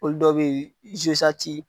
Olu dɔ bɛ yen